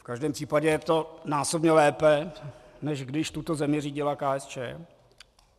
V každém případě je to násobně lépe, než když tuto zemi řídila KSČ.